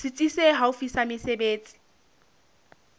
setsi se haufi sa mesebetsi